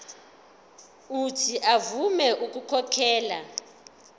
uuthi avume ukukhokhela